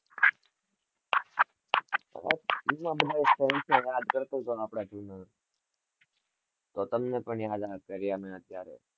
બધા ફ્રેન્ડ જોડે વાત કરતો તો આજે તો તમને બી યાદ કર્યા મેં અત્યરાએ